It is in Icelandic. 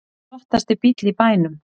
Flottasti bíll í bænum